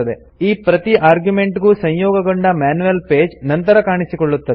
ಈ ಪ್ರತಿ ಆರ್ಗ್ಯುಮೆಂಟ್ ಗೂ ಸಂಯೋಗಗೊಂಡ ಮ್ಯಾನ್ಯುಯಲ್ ಪೇಜ್ ನಂತರ ಕಾಣಿಸಿಕೊಳ್ಳುತ್ತದೆ